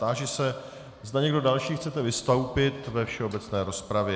Táži se, zda někdo další chce vystoupit ve všeobecné rozpravě.